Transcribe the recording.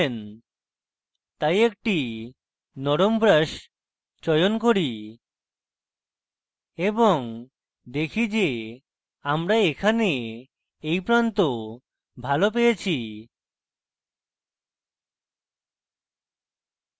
তাই একটি নরম brush চয়ন করি এবং দেখি যে আমরা এখানে এই প্রান্ত ভালো পেয়েছি